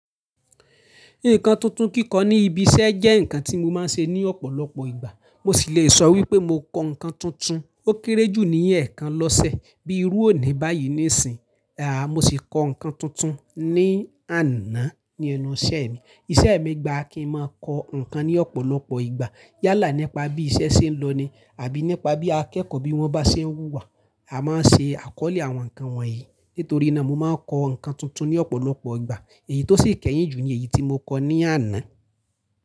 Nǹkan tuntun kíkọ ní ibi iṣẹ́ jẹ́ nǹkan tí mo máa ń ṣe ní ọ̀pọ̀lọpọ̀ ìgbà. Mo sì lè sọ wípé mo kọ́ nǹkan tuntun, ó kéré jù ní ẹ̀ẹ̀kan lọ́sẹ̀ bí i rú òní báyìí níìsín. Aà! Mo sì kọ́ nǹkan tuntun ní àná ní ẹnu iṣẹ́ mi. Iṣẹ́ mi gba kí ń máa kọ́ nǹkan ní ọ̀pọ̀lọpọ̀ ìgbà. Yálà nípa bí iṣẹ́ ṣe ń lọ ni àbí nípa bí akẹ́kọ̀ọ́ bí wọ́n bá ṣe ń wúwa, a máa ń ṣe àkọ́lé àwọn nǹkan wọ̀nyí. Nítorí náà mo máa ń kọ́ nǹkan tuntun ní ọ̀pọ̀lọpọ̀ ìgbà èyí tó sì kẹ́yìn jù ní èyí tí mo kọ́ ní àná.